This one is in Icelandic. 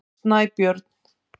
Snæbjörn